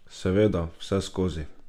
Seveda, vseskozi.